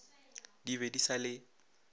di be di sa le